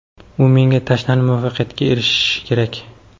u menga tashlanib muvaffaqiyatga erishishi kerak.